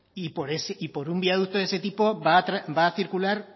y por un viaducto de ese tipo va a circular